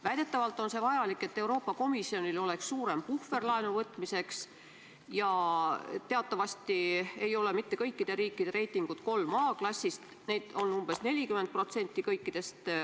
Väidetavalt on see vajalik, et Euroopa Komisjonil oleks laenu võtmiseks suurem puhver, ja teatavasti ei ole mitte kõikide riikide reitingud AAA-klassis, neid on kõikidest osalistest umbes 40%.